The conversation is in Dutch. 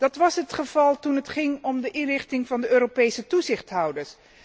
Dat was het geval toen het ging om de inrichting van de Europese toezichthouders.